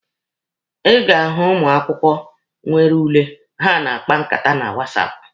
Ị ga-ahụ ụmụ akwụkwọ nwere ule, ha a na-akpa nkata na wasapụ.